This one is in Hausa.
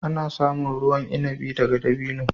Ana samun ruwan inabi daga dabino.